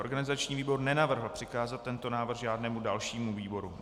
Organizační výbor nenavrhl přikázat tento návrh žádnému dalšímu výboru.